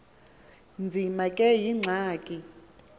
nzima kube yingxaki